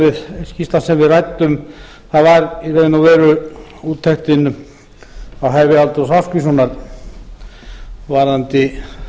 skýrslan sem við ræddum það var í raun og veru úttektin um hæfi halldórs ásgrímssonar varðandi